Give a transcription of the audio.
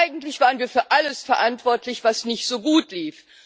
Eigentlich waren wir für alles verantwortlich, was nicht so gut lief.